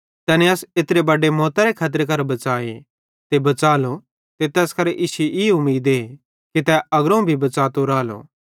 तैने अस एत्रे बडे मौतरे खतरे करां बच़ाए ते बच़ालो ते तैस करां इश्शी ई उमीदे कि तै अग्रोवं भी बच़ातो रालो